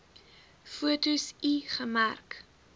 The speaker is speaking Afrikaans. foto l gemerk